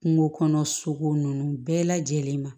Kungo kɔnɔ sogo nunnu bɛɛ lajɛlen ma